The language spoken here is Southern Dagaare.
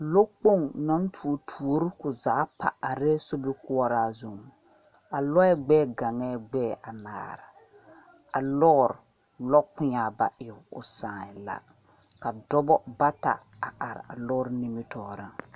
Loɔ kpong nang tuo tuori koo zaa pa arẽ sobikuoraa zung a lɔɛ gbɛɛ gangɛɛ gbɛɛ anaare a loɔri loɔ kpeɛngaa ba e ɔ saagyɛɛ la ka dɔba bata a arẽ a loɔri nimitoɔring.